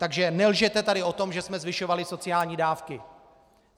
Takže nelžete tady o tom, že jsme zvyšovali sociální dávky!